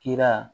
Kira